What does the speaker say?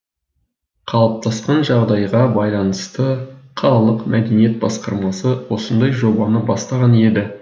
қалыптасқан жағдайға байланысты қалалық мәдениет басқармасы осындай жобаны бастаған еді